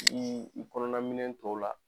Ni i kɔnɔnaminɛ tow la.